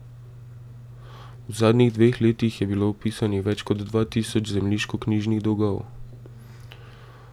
V zadnjih dveh letih je bilo vpisanih več kot dva tisoč zemljiškoknjižnih dolgov.